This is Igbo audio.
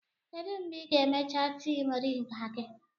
Kedu mgbe ị ga-emecha tii moringa gị?